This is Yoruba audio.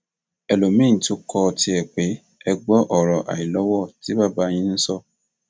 ẹlòmíín tún kọ tiẹ pè é gbọ ọrọ àìlọwọ tí bàbá yìí ń sọ